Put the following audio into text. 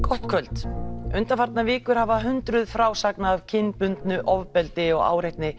gott kvöld undanfarnar vikur hafa hundruð frásagna af kynbundnu ofbeldi og áreitni